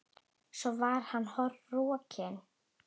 Svo var hann rokinn.